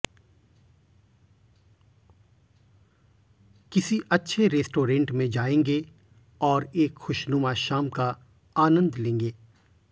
किसी अच्छे रेस्टोरेन्ट में जायेंगें और एक खुशनुमा शाम का आनन्द लेंगे